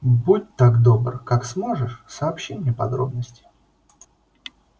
будь так добр как сможешь сообщи мне подробности